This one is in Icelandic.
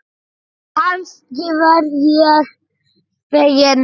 Kannski verð ég fegin.